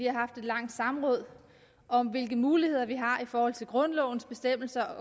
har haft et langt samråd om hvilke muligheder vi har i forhold til grundlovens bestemmelse